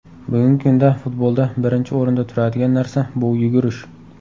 Bugungi kunda futbolda birinchi o‘rinda turadigan narsa bu yugurish.